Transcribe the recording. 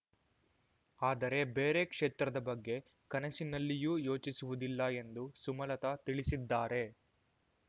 ಆದರೆ ಬೇರೆ ಕ್ಷೇತ್ರದ ಬಗ್ಗೆ ಕನಸಿನಲ್ಲಿಯೂ ಯೋಚಿಸುವುದಿಲ್ಲ ಎಂದು ಸುಮಲತಾ ತಿಳಿಸಿದ್ದಾರೆ